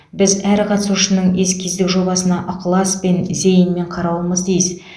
біз әр қатысушының эскиздік жобасына ықыласпен зейінмен қарауымыз тиіс